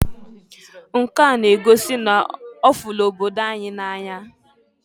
Nke a n'egosi n'ọfụlụ obodo ya na-anya.